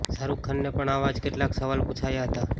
શાહરૂખને પણ આવા જ કેટલાક સવાલ પૂછાયા હતા